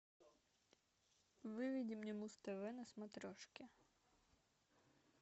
выведи мне муз тв на смотрешке